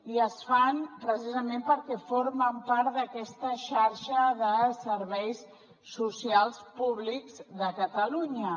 i es fan precisament perquè formen part d’aquesta xarxa de serveis socials públics de catalunya